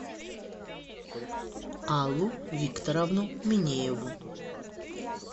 аллу викторовну минееву